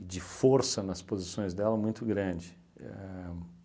e de força nas posições dela, muito grande. Éh